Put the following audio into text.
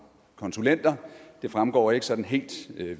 konsulenter det fremgår ikke sådan helt